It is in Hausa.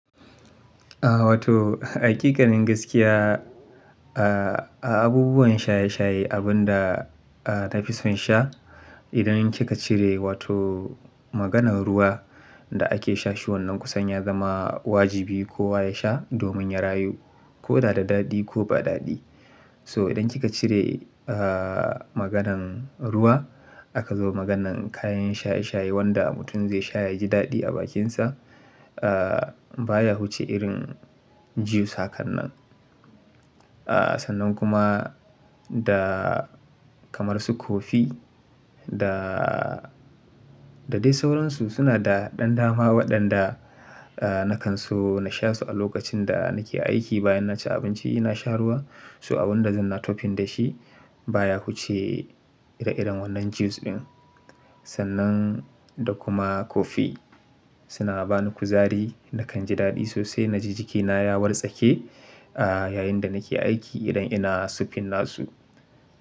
Ah wato hakikanin gaskiya, ah abubuwan shaye-shaye abunda a nafison sha idan kika cire wato maganan ruwa da ake sashi wannan kusanya zama wajibi kowa ya sha domin ya rayu ko dada dadi ko ba dadi. So idan kika cire ah maganan ruwa aka zo maganan kayan shaye-shaye wanda mutum zai sha yaji dadi a bakinsa. Ah baya wuce irin juice hakan nan. Ah sannan kuma da kamar su kofi da da dai sauransu suna da dan, dama waɗanda ah nakan so na shasu a lokacin da nake aiki bayan naci abinci na sha ruwa. So abunda zan na topin da shi baya kuce ire-iren wannan juice din. Sannan da kuma kofi suna bani kuzari nakan ji dadi sosai naji jikina ya wartsake a yayinda nake aiki idan ina spin nasu.